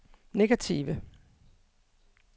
negative